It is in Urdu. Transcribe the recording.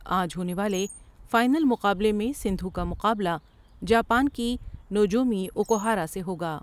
آج ہونے والے فائنل مقابلے میں سندھو کا مقابلہ جاپان کی نو جومی اوکو ہارا سے ہوگا ۔